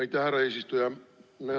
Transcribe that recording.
Aitäh, härra eesistuja!